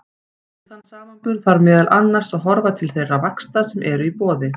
Við þann samanburð þarf meðal annars að horfa til þeirra vaxta sem eru í boði.